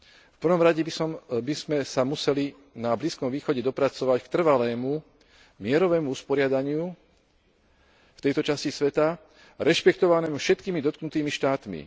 V prvom rade by sme sa museli na Blízkom východe dopracovať k trvalému mierovému usporiadaniu v tejto časti sveta rešpektovanému všetkými dotknutými štátmi.